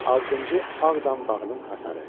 Altıncı Ağdam bağının hasarı.